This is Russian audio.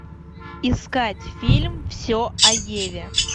искать фильм все о еве